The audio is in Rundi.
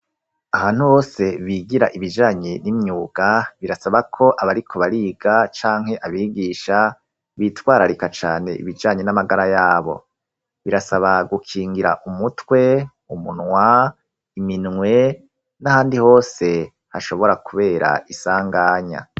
Aha ntu hose bigira ibijanyi n'imyuga birasaba ko abariku bariga canke abigisha bitwararika cane ibijanye n'amagara yabo birasaba gukingira umutwe umunwa iminwe n'ahandi hose hashobora, kubera isanganya.